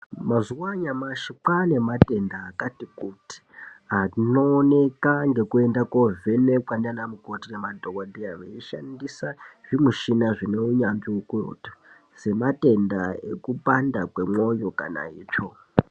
Mazuwa anyamashi kwane matenda akati kuti anooneka ngekuenda kovhenekwa ndianamukoti nemadhokodheya veishandisa zvimuchina zvine unyanzvi ukurutu sematenda ekupanda kwemwoyo kana itsvo.